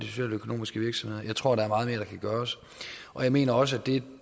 socialøkonomiske virksomheder jeg tror at meget mere kan gøres og jeg mener også at det